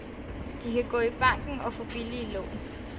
De kan gå i banken og få billige lån.